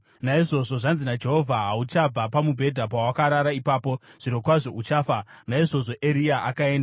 Naizvozvo zvanzi naJehovha: ‘Hauchabva pamubhedha pawakarara ipapo. Zvirokwazvo uchafa!’ ” Naizvozvo Eria akaenda.